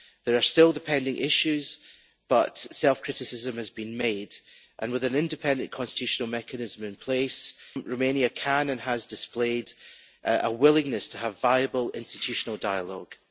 There are still the pending issues but self criticism has been made and, with an independent constitutional mechanism in place, Romania can display, and has displayed, a willingness to have viable institutional dialogue.